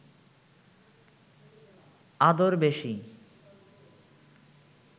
আদর বেশি